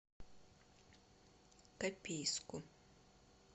копейску